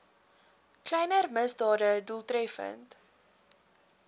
kleiner misdade doeltreffend